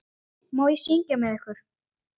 Má ég syngja með ykkur?